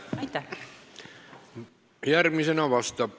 Aitäh!